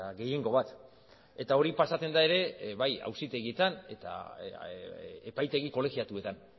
gehiengo bat eta hori pasatzen da ere bai auzitegietan eta epaitegi kolegiatuetan